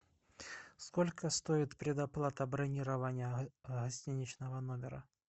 сколько стоит предоплата бронирования гостиничного номера